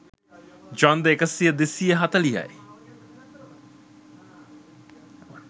ඡන්ද එක්දහස් දෙසිය හතලිහයි.